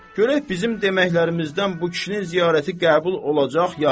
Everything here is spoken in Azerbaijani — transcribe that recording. Görək bizim deməklərimizdən bu kişinin ziyarəti qəbul olacaq ya yox?